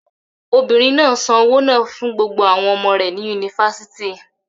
Obìnrin náà san owó náà fún gbogbo àwọn ọmọ rẹ̀ ní Yunifásítì.